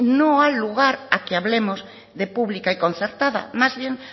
no ha lugar a que hablemos de pública y concertada más bien